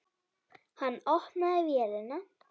Hann opnaði vélina.